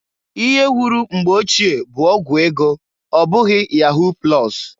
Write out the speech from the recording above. Ihe wuru mgbe ochie bu ọgwụ ego ọbụghị yahu plọs.